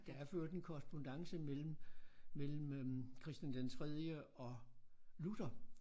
Der er for øvrigt en korrespondance mellem mellem øh Christian den tredje og Luther